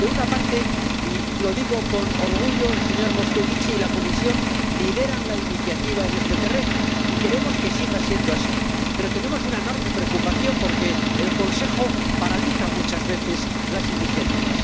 En primer lugar —y lo digo con orgullo—, el señor Moscovici y la Comisión lideran la iniciativa en este terreno, y queremos que siga siendo así, pero tenemos una enorme preocupación, porque el Consejo paraliza muchas veces las iniciativas.